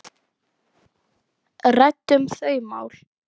Ræddum þau mál.